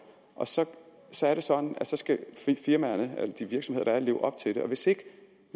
og så så er det sådan at de virksomheder er leve op til det og hvis ikke